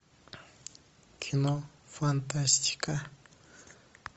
кино фантастика